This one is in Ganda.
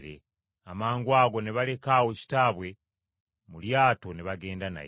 Amangwago, ne baleka awo kitaabwe mu lyato ne bagenda naye.